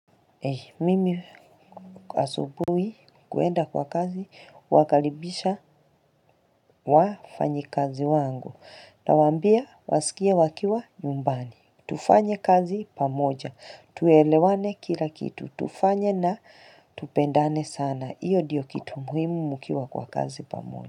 Mimi asubuhi kuenda kwa kazi, wakaribisha wafanyi kazi wangu, na waambia wasikie wakiwa nyumbani, tufanye kazi pamoja, tuelewane kila kitu, tufanye na tupendane sana, iyo ndiyo kitu muhimu mkiwa kwa kazi pamoja.